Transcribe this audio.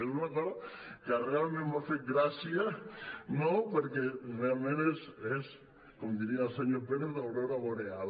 és una cosa que realment m’ha fet gràcia no perquè realment és com diria el senyor pérez d’aurora boreal